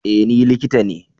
E! Ni likita ne.